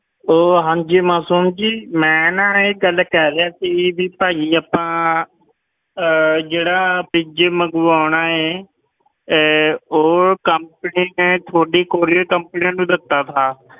ਉਹ ਹਾਂਜੀ ਮਾਸੂਮ ਜੀ ਮੈਂ ਨਾ ਇਹ ਗੱਲ ਕਰ ਰਿਹਾ ਸੀ ਵੀ ਭਾਈ ਆਪਾਂ ਅਹ ਜਿਹੜਾ fridge ਮੰਗਵਾਉਣਾ ਹੈ ਇਹ ਉਹ company ਨੇ ਤੁਹਾਡੀ courier company ਨੂੰ ਦਿੱਤਾ ਸੀ,